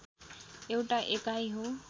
एउटा एकाइ हो